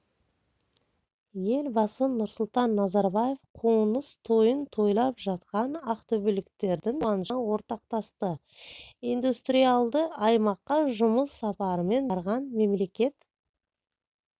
елбасы нұрсұлтан назарбаев қоныс тойын тойлап жатқан ақтөбеліктердің қуанышына ортақтасты индустриалды аймаққа жұмыс сапарымен барған мемлекет